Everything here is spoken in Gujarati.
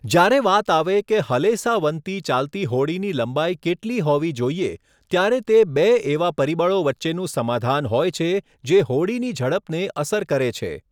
જ્યારે વાત આવે કે હલેસાંવતી ચાલતી હોડીની લંબાઇ કેટલી હોવી જોઇએ, ત્યારે તે બે એવા પરિબળો વચ્ચેનું સમાધાન હોય છે જે હોડીની ઝડપને અસર કરે છે.